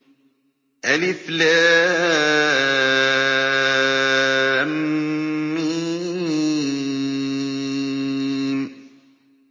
الم